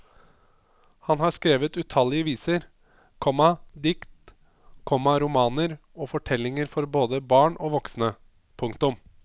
Han har skrevet utallige viser, komma dikt, komma romaner og fortellinger for både barn og voksne. punktum